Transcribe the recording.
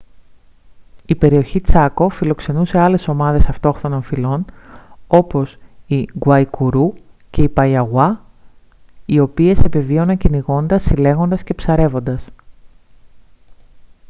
η περιοχή τσάκο φιλοξενούσε άλλες ομάδες αυτόχθονων φυλών όπως οι γκουαϊκουρού και οι παϊαγουά οι οποίες επιβίωναν κυνηγώντας συλλέγοντας και ψαρεύοντας